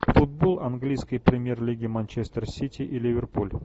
футбол английской премьер лиги манчестер сити и ливерпуль